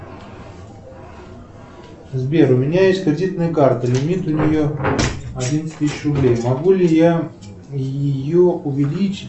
сбер у меня есть кредитная карта лимит у нее одиннадцать тысяч рублей могу ли я ее увеличить